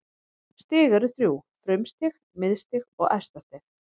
Stig eru þrjú: frumstig, miðstig og efstastig.